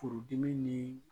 Furudimi ni